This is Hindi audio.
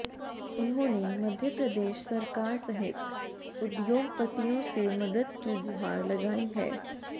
उन्होंने मध्य प्रदेश सरकार सहित उद्योगपतियों से मदद की गुहार लगाई है